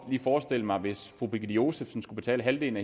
lige forestille mig hvis fru birgitte josefsen skulle betale halvdelen